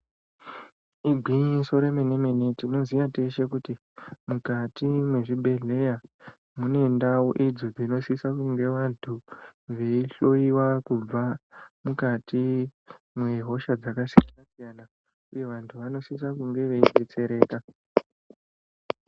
Igwinyiso remenemene, tinoziya tese kuti mukati mezvibhedleya mune ntawu idzo dzinosisa kune vantu ,beyi hloyiwa kubva mukati mehosha dzakasiyanasiyana, uye vantu vanosise kunge vedetsereka.